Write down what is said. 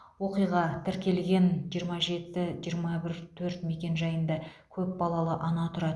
оқиға тіркелген жиырма жеті жиырма бір төрт мекенжайында көп балалы ана тұрады